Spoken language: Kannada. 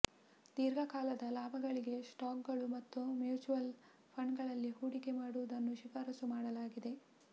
ದೀರ್ಘ ಕಾಲದ ಲಾಭಗಳಿಗೆ ಸ್ಟಾಕ್ ಗಳು ಮತ್ತು ಮ್ಯೂಚುವಲ್ ಫಂಡ್ಗಳಲ್ಲಿ ಹೂಡಿಕೆ ಮಾಡುವುದನ್ನು ಶಿಫಾರಸು ಮಾಡಲಾಗಿದೆ